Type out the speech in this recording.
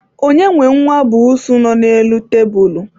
onye nwe nwa busuu nọ n'elu tebulu?